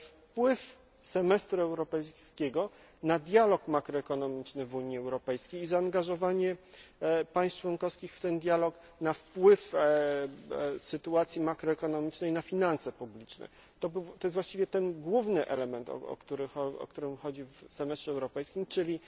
wpływ semestru europejskiego na dialog makroekonomiczny w Unii Europejskiej i zaangażowanie państw członkowskich w ten dialog, na wpływ sytuacji makroekonomicznej, na finanse publiczne. Jest to właściwie główny element, o który chodzi w semestrze europejskim, czyli